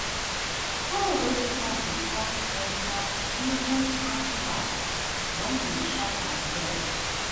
hoe way strong dey cut enter even ant house when dem sharp am well.